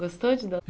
Gostou de dar?